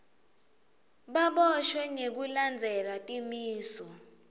baboshwe ngekulandzela timiso